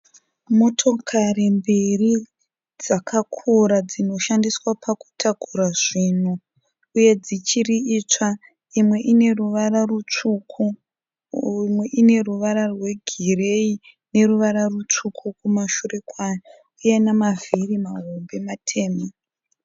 Motokari mbiri dzakakura dzinoshandiswa pakutakurisa zvinhu uye dzichiri itsva. Imwe ineruvara rutsvuku imwe ineruvara rwegireyi neruvara rwutsvuku kumashure kwayo, uye nemavhiri mahombe matema.